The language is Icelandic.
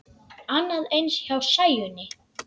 Annað eins hjá Sæunni.